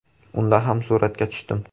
Unda ham suratga tushdim.